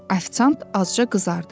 Afisant azca qızardı.